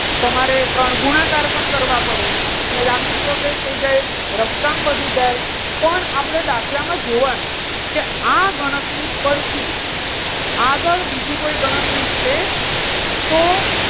તમારે ત્રણ ગુણાકાર પણ કરવા પડે. અને લાંબી પ્રોસેસ થઈ જાય રફ કામ વધી જાય પણ આપણે દાખલામાં જોવાનું એ આ ગણતરી પરથી આગળ બીજી કોઈ ગણતરી છે? તો